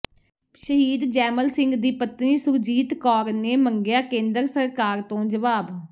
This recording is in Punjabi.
ਸ਼ਹੀਦ ਜੈਮਲ ਸਿੰਘ ਦੀ ਪਤਨੀ ਸੁਰਜੀਤ ਕੌਰ ਨੇ ਮੰਗਿਆ ਕੇਂਦਰ ਸਰਕਾਰ ਤੋਂ ਜਵਾਬ